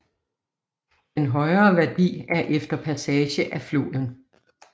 Den højere værdi er efter passage af floden